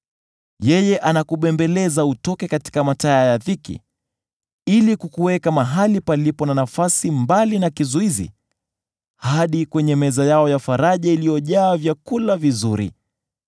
“Yeye anakubembeleza utoke katika mataya ya dhiki, ili kukuweka mahali palipo na nafasi mbali na kizuizi, hadi kwenye meza yako ya faraja iliyojaa vyakula vizuri.